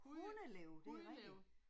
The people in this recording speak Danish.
Hundelev det er rigtigt